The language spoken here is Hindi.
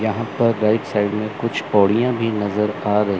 यहां पर राइट साइड में कुछ पोड़िया भी नजर आ र--